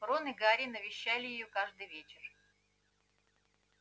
рон и гарри навещали её каждый вечер